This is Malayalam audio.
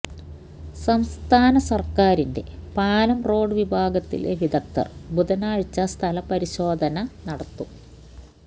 സംസ്ഥാന സർക്കാരിന്റെ പാലം റോഡ് വിഭാഗത്തിലെ വിദഗ്ദ്ധർ ബുധനാഴ്ച സ്ഥലപരിശോധന നടത്തും